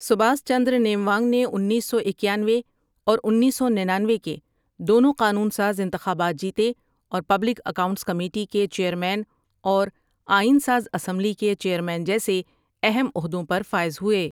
سباس چندر نیموانگ نے انیس سو اکیانوے اور انیس سو ننانوے کے دونوں قانون ساز انتخابات جیتے، اور پبلک اکاؤنٹس کمیٹی کے چیئرمین اور آئین ساز اسمبلی کے چیئرمین جیسے اہم عہدوں پر فائز ہوئے ۔